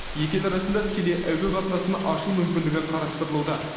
екі ел арасында тікелей әуе қатынасын ашу мүмкіндігі қарастырылуда